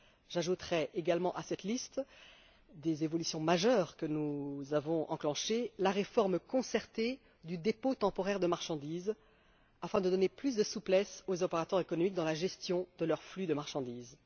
J'ajouterai également à cette liste des évolutions majeures que nous avons engagées, la réforme concertée du dépôt temporaire de marchandises afin de donner plus de souplesse aux opérateurs économiques dans la gestion de leurs flux de marchandises.